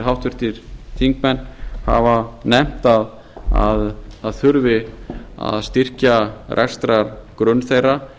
háttvirtir þingmenn hafa nefnt að það þurfi að styrkja rekstrargrunn þeirra